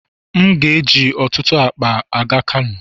M ga-eji ọtụtụ akpa aga Kano.